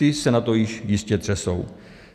Ti se na to již jistě třesou.